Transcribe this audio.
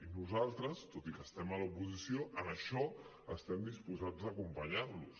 i nosaltres tot i que estem a l’oposició en això estem disposats a acompanyar los